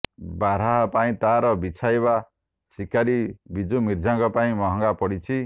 ବାର୍ହା ପାଇଁ ତାର ବିଛାଇବା ଶିକାରୀ ବିଜୁ ମିର୍ଦ୍ଦା ପାଇଁ ମହଙ୍ଗା ପଡ଼ିଛି